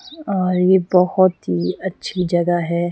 और यह बहुत ही अच्छी जगह है ।